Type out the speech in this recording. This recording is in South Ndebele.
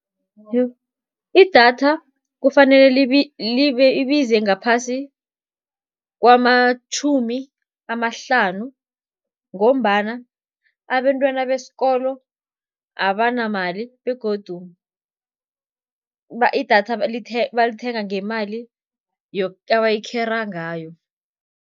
Idatha kufanele libize ngaphasi kwamatjhumi amahlanu, ngombana abentwana besikolo abanamali begodu idatha balithenga ngemali abayikhera ngayo.